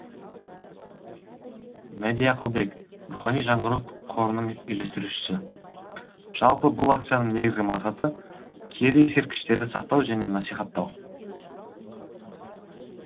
мәди ақылбек рухани жаңғыру қорының үйлестірушісі жалпы бұл акцияның негізгі мақсаты киелі ескерткіштерді сақтау және насихаттау